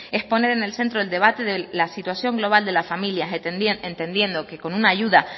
es poner en el centro del debate la situación global de las familias entendiendo que con una ayuda